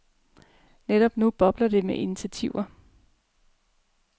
Netop nu bobler det med initiativer.